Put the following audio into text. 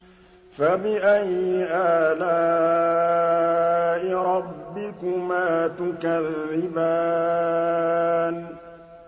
فَبِأَيِّ آلَاءِ رَبِّكُمَا تُكَذِّبَانِ